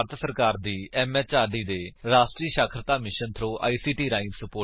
ਇਹ ਭਾਰਤ ਸਰਕਾਰ ਦੀ ਐਮਐਚਆਰਡੀ ਦੇ ਰਾਸ਼ਟਰੀ ਸਾਖਰਤਾ ਮਿਸ਼ਨ ਥ੍ਰੋ ਆਈਸੀਟੀ ਰਾਹੀਂ ਸੁਪੋਰਟ ਕੀਤਾ ਗਿਆ ਹੈ